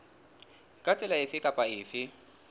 ka tsela efe kapa efe